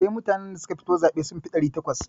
Eh, mutanen da suka fito zaɓe sun fi ɗari takwas.